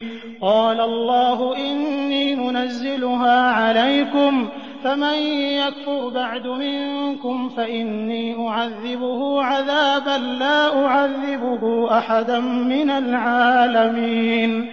قَالَ اللَّهُ إِنِّي مُنَزِّلُهَا عَلَيْكُمْ ۖ فَمَن يَكْفُرْ بَعْدُ مِنكُمْ فَإِنِّي أُعَذِّبُهُ عَذَابًا لَّا أُعَذِّبُهُ أَحَدًا مِّنَ الْعَالَمِينَ